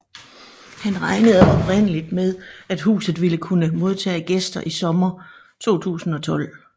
Han regnede oprindeligt med at huset ville kunne modtage gæster i sommeren 2012